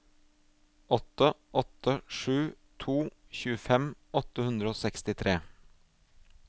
åtte åtte sju to tjuefem åtte hundre og sekstitre